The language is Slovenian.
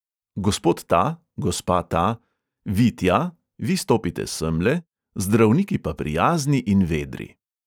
Gospod ta, gospa ta, vi tja, vi stopite semle, zdravniki pa prijazni in vedri.